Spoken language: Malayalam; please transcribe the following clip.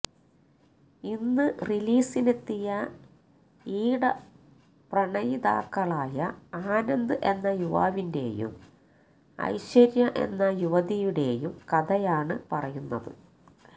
ഇന്ന് റിലീസിനെത്തിയ ഈട പ്രണയിതാക്കളായ ആനന്ദ് എന്ന യുവാവിന്റെയും ഐശ്വര്യ എന്ന യുവതിയുടെയും കഥയാണ് പറയുന്നത്